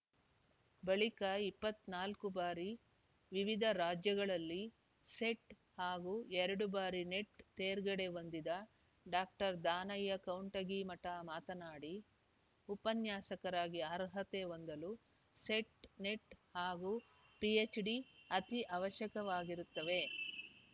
ಬಳಿಕ ಇಪ್ಪತ್ತ್ ನಾಲ್ಕು ಬಾರಿ ವಿವಿಧ ರಾಜ್ಯಗಳಲ್ಲಿ ಸೆಟ್ ಹಾಗೂ ಎರಡು ಬಾರಿ ನೆಟ್ ತೇರ್ಗಡೆ ಹೊಂದಿದ ಡಾಕ್ಟರ್ ದಾನಯ್ಯ ಕೌಂಟಗಿಮಠ ಮಾತನಾಡಿ ಉಪನ್ಯಾಸಕರಾಗಿ ಅರ್ಹತೆ ಹೊಂದಲು ಸೆಟ್ ನೆಟ್ ಹಾಗೂ ಪಿಎಚ್ ಡಿ ಅತಿ ಅವಶ್ಯಕವಾಗಿರುತ್ತವೆ